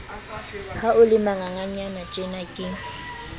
ha o le manganganyanatjena ke